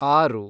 ಆರು